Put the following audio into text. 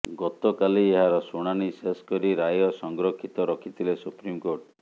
ଗତକାଲି ଏହାର ଶୁଣାଣି ଶେଷ କରି ରାୟ ସଂରକ୍ଷିତ ରଖିଥିଲେ ସୁପ୍ରିମକୋର୍ଟ